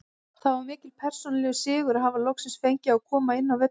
Það var mikill persónulegur sigur að hafa loksins fengið að koma inn á völlinn.